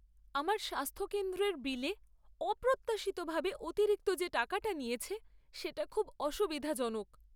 আমার স্বাস্থ্য কেন্দ্রের বিলে অপ্রত্যাশিতভাবে অতিরিক্ত যে টাকাটা নিয়েছে সেটা খুব অসুবিধাজনক।